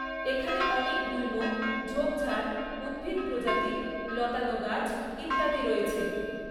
এখানে অনেক গুল্ম, ঝোপঝাড়, উদ্ভিদ প্রজাতি, লতানো গাছ ইত্যাদি রয়েছে।